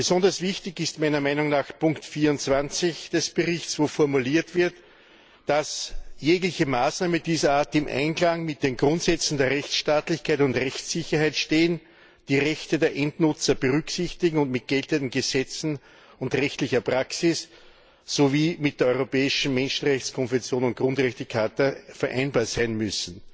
Besonders wichtig ist meiner Meinung nach Ziffer 24 des Berichts, wo formuliert wird, dass jegliche Maßnahme dieser Art im Einklang mit den Grundsätzen der Rechtsstaatlichkeit und Rechtssicherheit stehen, die Rechte der Endnutzer berücksichtigen und mit geltenden Gesetzen und rechtlicher Praxis sowie mit der Europäischen Menschenrechtskonvention und Grundrechtecharta vereinbar sein muss.